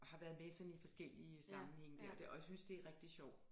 Har været med i sådan i forskellige sammenhænge dér og synes det er rigtig sjov